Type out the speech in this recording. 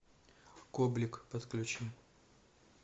коблик подключи